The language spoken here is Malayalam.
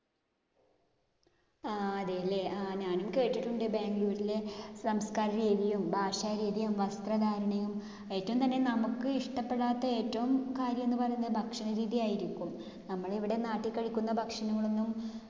ആഹ് അതെയല്ലേ. ആഹ് ഞാനും കേട്ടിട്ടുണ്ട് ബാംഗ്ലൂരിലെ സംസ്കരരീതിയും ഭാഷാരീതിയും വസ്ത്രധാരണയും. ഏറ്റവുംതന്നെ നമ്മക്ക് ഇഷ്ടപ്പെടാത്ത ഏറ്റവും കാര്യമെന്ന് പറയുന്ന ഭക്ഷണരീതി ആയിരിക്കും. നമ്മൾ ഇവിടെ നാട്ടിൽ കഴിക്കുന്ന ഭക്ഷണങ്ങളൊന്നും